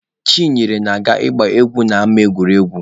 Chinyere na-aga ịgba egwu n'ama egwuregwu.